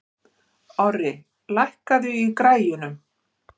Orri, lækkaðu í græjunum.